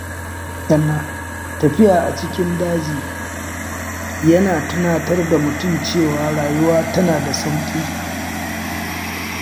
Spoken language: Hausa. Tafiya a cikin daji yana tunatar da mutum cewa rayuwa tana da sauƙi.